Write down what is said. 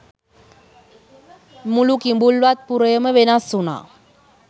මුළු කිඹුල්වත් පුරයම වෙනස් වුනා.